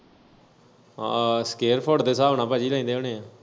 ਹਾਂ square foot ਦੇ ਸਾਬ ਨਾਲ ਭਾਜੀ ਲੈਂਦੇ ਹੁਨੇ?